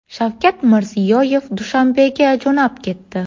Shavkat Mirziyoyev Dushanbega jo‘nab ketdi.